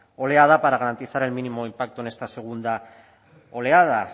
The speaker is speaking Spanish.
oleada para garantizar el mínimo impacto en esta segunda oleada